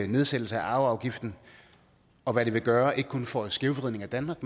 nedsættelse af arveafgiften og hvad det vil gøre ikke kun for skævvridning af danmark